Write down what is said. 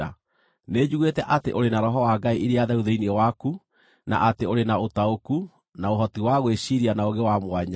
Nĩnjiguĩte atĩ ũrĩ na roho wa ngai iria theru thĩinĩ waku na atĩ ũrĩ na ũtaũku, na ũhoti wa gwĩciiria na ũũgĩ wa mwanya.